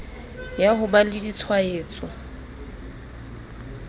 ya ho ba le ditshwaetso